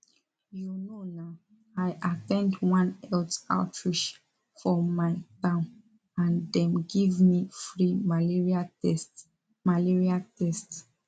you know na i at ten d one health outreach for my town and dem give me free malaria test malaria test